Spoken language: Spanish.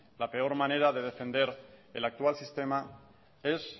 la peor manera de defender el actual sistema es